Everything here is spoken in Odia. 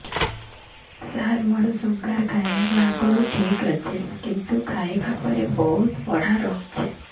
ସାର ମୋର ଶୁଗାର ଖାଇବା ଆଗରୁ ଠିକ ଅଛି କିନ୍ତୁ ଖାଇବା ପରେ ବହୁତ ବଢ଼ା ରହୁଛି